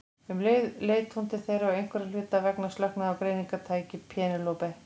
Um leið leit hún til þeirra og einhverra hluta vegna slöknaði á greiningartæki Penélope.